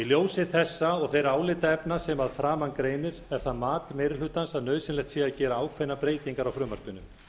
ljósi þessa og þeirra álitaefna sem að framan greinir er það mat meiri hlutans að nauðsynlegt sé að gera ákveðnar breytingar á frumvarpinu